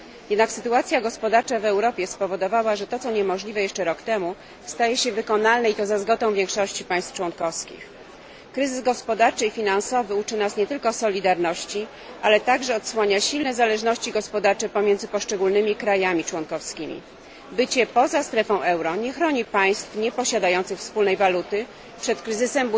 Jednak sytuacja gospodarcza w Europie spowodowała, że to, co niemożliwe jeszcze rok temu, staje się wykonalne, i to za zgodą większości państw członkowskich. Kryzys gospodarczy i finansowy uczy nas nie tylko solidarności, ale także odsłania silne zależności gospodarcze pomiędzy poszczególnymi państwami członkowskimi. Bycie poza strefą euro nie chroni państw nieposiadających wspólnej waluty przed kryzysem